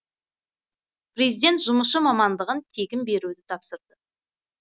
президент жұмысшы мамандығын тегін беруді тапсырды